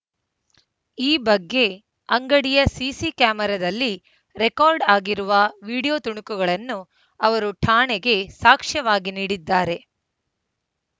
ಈ ಬಗ್ಗೆ ಅಂಗಡಿಯ ಸಿಸಿ ಕ್ಯಾಮೆರಾದಲ್ಲಿ ರೆಕಾರ್ಡ್‌ ಆಗಿರುವ ವಿಡಿಯೋ ತುಣುಕುಗಳನ್ನು ಅವರು ಠಾಣೆಗೆ ಸಾಕ್ಷ್ಯವಾಗಿ ನೀಡಿದ್ದಾರೆ